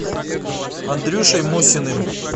андрюшей мусиным